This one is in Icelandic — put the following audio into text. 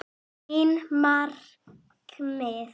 Mín markmið?